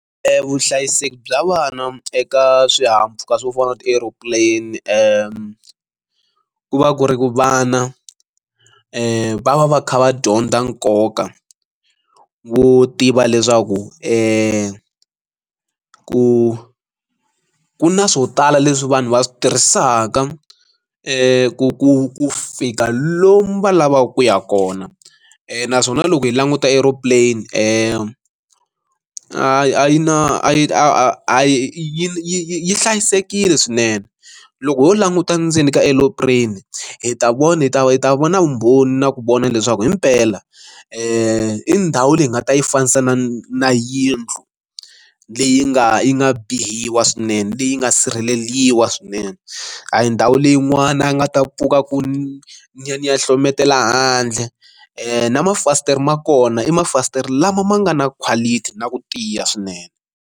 vuhlayiseki bya vana eka swihahampfhuka swo fana na ti aero plane ku va ku ri ku vana va va kha va dyondza nkoka wo tiva leswaku i ku ku na swo tala leswi vanhu va swi tirhisaka ku fika lomu va lavaka ku ya kona naswona loko hi languta aero plane a yi a yi na a yi a yi yi hlayisekile swinene loko ho languta ndzeni ka aero plane hi ta vona yi ta yi ta vona vumbhoni na ku vona leswaku himpela i ndhawu leyi nga ta yi fanisa na na yindlu leyi nga yi nga biwa swinene leyi nga sirheleriwa swinene a hi ndhawu leyin'wana ya nga ta pfuka ku ni ni ya ni ya hlohletela handle na mafasitere ma kona i mafasitere lama ma nga na quality na ku tiya swinene.